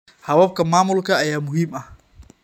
Hababka maamulka ayaa muhiim ah.